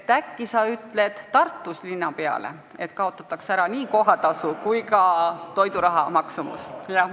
Äkki sa ütled Tartu linnapeale, et kaotataks ära nii kohatasu kui ka kohustus maksta toiduraha.